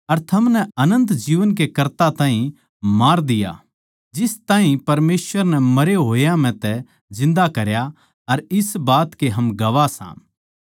अर थमनै अनन्त जीवन के कर्ता ताहीं मार दिया जिस ताहीं परमेसवर नै मरे होया म्ह तै जिन्दा करया अर इस बात के हम गवाह सां